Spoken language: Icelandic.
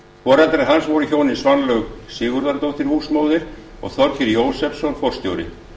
foreldrar hans voru hjónin svanlaug sigurðardóttir húsmóðir og þorgeir jósefsson forstjóri